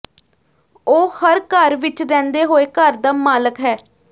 ਉਹ ਹਰ ਘਰ ਵਿਚ ਰਹਿੰਦੇ ਹੋਏ ਘਰ ਦਾ ਮਾਲਕ ਹੈ